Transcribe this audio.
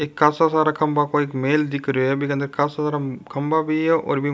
एक कासो सारा खम्बा पे एक मेल दिख रो है कासो सारा खम्बा भी है।